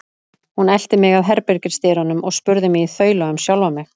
Hún elti mig að herbergisdyrunum og spurði mig í þaula um sjálfa mig.